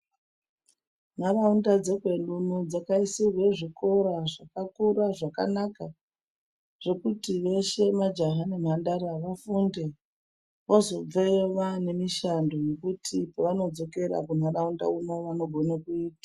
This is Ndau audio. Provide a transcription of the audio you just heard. Nharaunda dzekedu uno dzakaisirwe zvikora zvakakura zvakanaka zvekuti veshe majaha nemhandara vafunde. Vozobveyo vanemishando yekuti pavano dzokera kunharaunda uno vanogona kuita.